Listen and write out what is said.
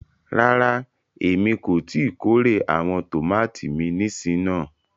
Ràrà, ẹ̀mi kò ti kòrè awọn tomati mi nísìn náà.